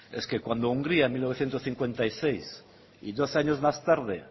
es que cuando hungría en mil novecientos cincuenta y seis y dos años más tarde